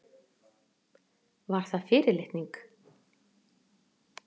Var það fyrirlitning?